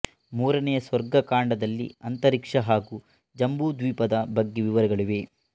ಮೂರನೆಯ ಸ್ವರ್ಗ ಕಾಂಡದಲ್ಲಿ ಅಂತರಿಕ್ಷ ಹಾಗೂ ಜಂಬೂದ್ವೀಪದ ಬಗ್ಗೆ ವಿವರಗಳಿವೆ